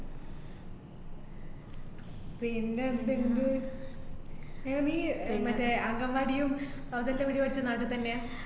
പിന്നെ എന്ത് ഇണ്ട് ആഹ് നീ ആഹ് മറ്റേ അംഗന്‍വാടിയും അതെല്ലാെം എവടെ വച്ച്, നാട്ടിൽ തന്നെയാ?